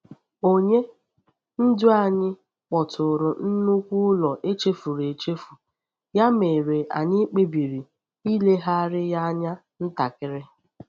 Onye ndu anyị kpọtụrụ nnukwu ụlọ echefuru echefu, ya mere anyị kpebiri ilegharịa ya anya ntakịrị.